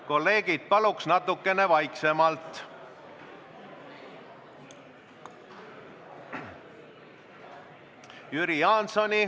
Kolleegid, paluks natukene vaiksemalt! ...